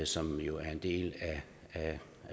som jo er en del af